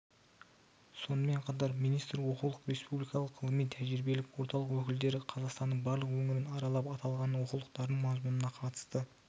сонымен қатар министр оқулық республикалық ғылыми-тәжірибелік орталық өкілдері қазақстанның барлық өңірін аралап аталған оқулықтардың мазмұнына қатысты